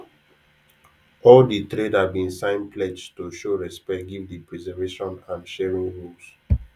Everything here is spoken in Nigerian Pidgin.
all de trader bin sign pledge to show respect give de preservation and sharing rules